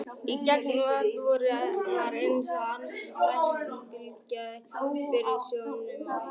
Í gegnum vot augun var eins og andlit læknisins bylgjaðist fyrir sjónum okkar.